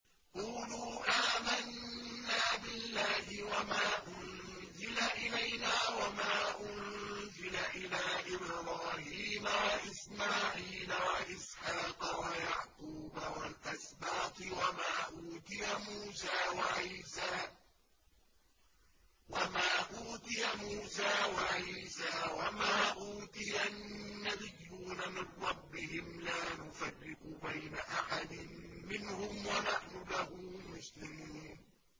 قُولُوا آمَنَّا بِاللَّهِ وَمَا أُنزِلَ إِلَيْنَا وَمَا أُنزِلَ إِلَىٰ إِبْرَاهِيمَ وَإِسْمَاعِيلَ وَإِسْحَاقَ وَيَعْقُوبَ وَالْأَسْبَاطِ وَمَا أُوتِيَ مُوسَىٰ وَعِيسَىٰ وَمَا أُوتِيَ النَّبِيُّونَ مِن رَّبِّهِمْ لَا نُفَرِّقُ بَيْنَ أَحَدٍ مِّنْهُمْ وَنَحْنُ لَهُ مُسْلِمُونَ